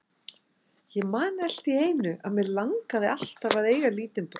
Ég man alltíeinu að mig langaði alltaf að eiga lítinn bróður.